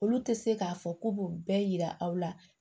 Olu tɛ se k'a fɔ k'u b'u bɛɛ yira aw la